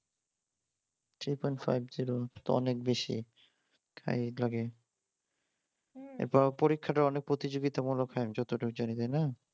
Three point five zero এটা তো অনেক বেশি তাই লাগে এরপরে পরীক্ষাটাও তো প্রতিযোগিতামূলক হয়ে যতটুক জানি তাই না?